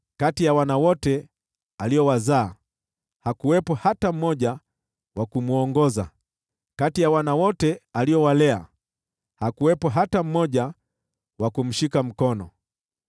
Kati ya wana wote aliowazaa hakuwepo hata mmoja wa kumwongoza, kati ya wana wote aliowalea hakuwepo hata mmoja wa kumshika mkono.